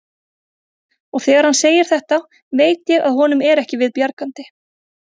Og þegar hann segir þetta veit ég að honum er ekki við bjargandi.